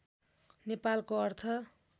नेपालको अर्थ